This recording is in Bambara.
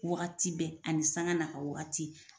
Wagati bɛɛ ani sanga n'a ka wagati